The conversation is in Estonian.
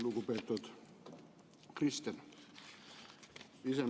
Lugupeetud Kristen!